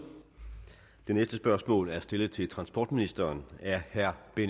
det næste spørgsmål er stillet til transportministeren af herre benny